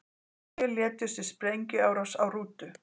Sjö létust í sprengjuárás á rútu